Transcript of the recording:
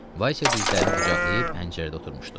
Vaysiya dizlərini qucaqlayıb pəncərədə oturmuşdu.